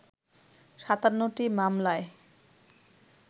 ৫৭টি মামলায়